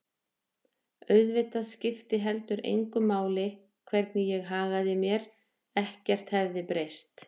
Auðvitað skipti heldur engu máli hvernig ég hagaði mér, ekkert hefði breyst.